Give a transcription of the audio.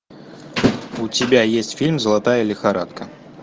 у тебя есть фильм золотая лихорадка